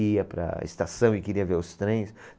E ia para a estação e queria ver os trens.